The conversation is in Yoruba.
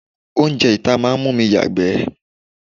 Oúnjẹ ìta máa ń mú mi yagbe.